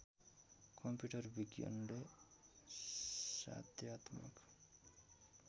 computer विज्ञनले साध्यात्मक